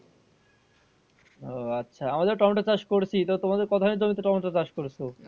ও আচ্ছা আমাদের টমেটো চাষ করছি তো তোমাদের কোথায় টমেটো চাষ করেছো?